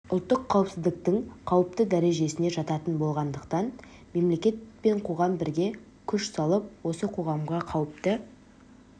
ұлттық қаупсіздіктің қауіпті дәрежесіне жататын болғандықтан мелекет пен қоғам бірге күш салып осы қоғамға қауіпті